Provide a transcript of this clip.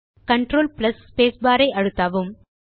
control space bar ஐ அழுத்தவும்